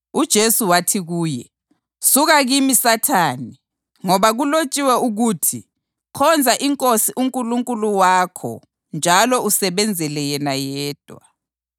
UJesu wathi kuye, “Suka kimi Sathane! Ngoba kulotshiwe ukuthi: ‘Khonza iNkosi uNkulunkulu wakho njalo usebenzele yena yedwa.’ + 4.10 UDutheronomi 6.13 ”